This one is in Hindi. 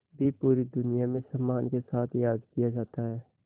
भी पूरी दुनिया में सम्मान के साथ याद किया जाता है